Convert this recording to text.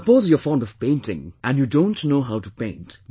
Suppose you are fond of painting and you don't know how to paint